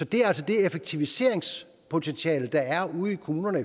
det er altså det effektiviseringspotentiale der er ude i kommunerne